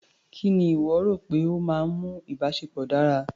Kí ni ìwọ rò pé ó máa ń mú ìbáṣepọ̀ dára?